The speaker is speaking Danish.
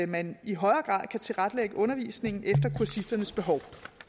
man i højere grad kan tilrettelægge undervisningen efter kursisternes behov